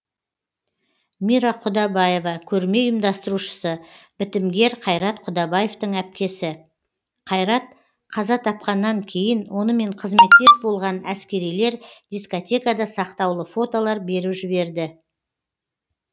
мира құдабаева көрме ұйымдастырушысы бітімгер қайрат құдабаевтың әпкесі қайрат қаза тапқаннан кейін онымен қызметтес болған әскерилер дискетада сақтаулы фотолар беріп жіберді